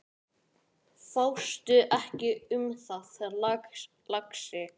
Fástu ekki um það, lagsi.